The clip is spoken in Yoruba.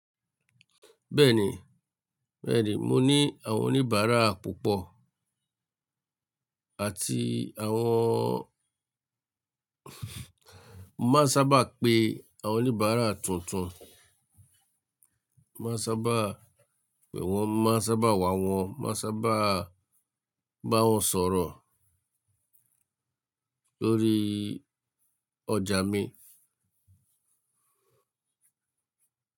Bẹ́ẹ̀ni, bẹ́ẹ̀ni, mo ní àwọn oníbàárà púpọ̀ àti àwọn, màá sábà pe àwọn oníbàárà tuntun. Màá sábà pè wọ́n, mo màa sábà wá wọ́n, màá sábà bá wọn sọ̀rọ̀ lórí ọjà mi.